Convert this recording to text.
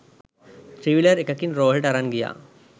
three wheeler එකකින් රෝහලට අරන් ගියා